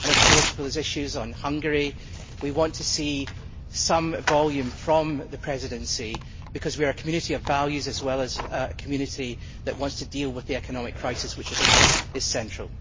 Regarding the issue of Hungary, we want to see some volume from the Presidency, because we are a Community of values as well as a Community that wants to deal with the economic crisis, which is central.